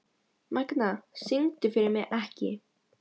Magna, syngdu fyrir mig „Ekki“.